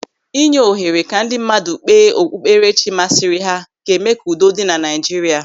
Ị nye ohere ka ndị mmadụ kpee okpukperechi masịrị ha ga-eme ka udo dị na Naịjirịa.